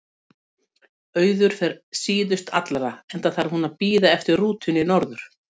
Auður fer síðust allra, enda þarf hún að bíða eftir rútunni norður.